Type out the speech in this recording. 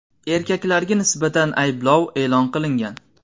Erkaklarga nisbatan ayblov e’lon qilingan.